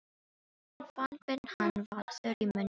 Hann fann hve hann var þurr í munninum.